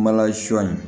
Mala sɔ in